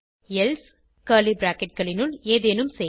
else curly bracketகளினுள் ஏதேனும் செய்